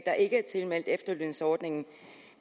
der ikke er tilmeldt efterlønsordningen